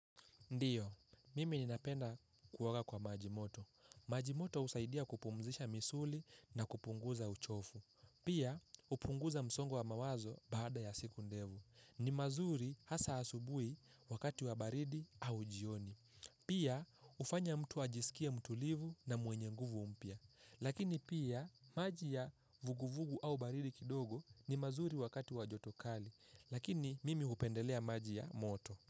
Ndiyo, mimi ninapenda kuoga kwa maji moto. Maji moto husaidia kupumzisha misuli na kupunguza uchovu. Pia, hupunguza msongo wa mawazo baada ya siku ndefu. Ni mazuri hasa asubuhi wakati wa baridi au jioni. Pia, hufanya mtu ajisikie mtulivu na mwenye nguvu mpya. Lakini pia, maji ya vuguvugu au baridi kidogo ni mazuri wakati wa joto kali. Lakini, mimi hupendelea maji ya moto.